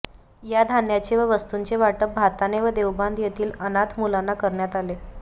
या धान्याचे व वस्तूंचे वाटप भाताणे व देवबांध येथील अनाथ मुलांना करण्यात आले